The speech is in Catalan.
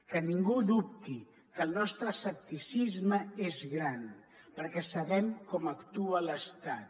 que ningú dubti que el nostre escepticisme és gran perquè sabem com actua l’estat